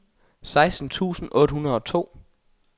seksten tusind otte hundrede og to